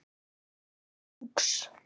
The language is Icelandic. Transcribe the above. Nonni var dúx.